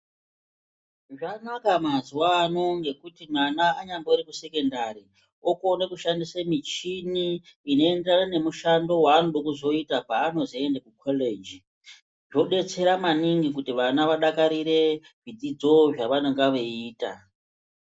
Zvanaka mazuwano ngekuti mwana anyambori kusekondari okone kushandise michini inoenderana nemishando yaanode kuzoita paanozoende kukoreji. Zvobetsera maningi kuti vana vadakarire zvidzidzo zvavanonga veyiita.